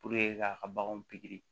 k'a ka baganw pikiri